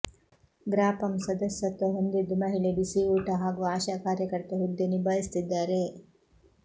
ಗ್ರಾಪಂ ಸದಸ್ಯತ್ವ ಹೊಂದಿದ್ದು ಮಹಿಳೆ ಬಿಸಿ ಊಟ ಹಾಗೂ ಆಶಾ ಕಾರ್ಯಕರ್ತೆ ಹುದ್ದೆ ನಿಭಾಯಿಸುತ್ತಿದ್ದಾರೆ